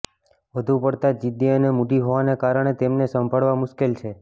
વધુ પડતા જિદ્દી અને મૂડી હોવાને કારણે તેમને સંભાળવા મુશ્કેલ છે